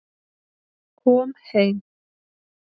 Kom heim